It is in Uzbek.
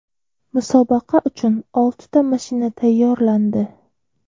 Musobaqa uchun oltita mashina tayyorlandi.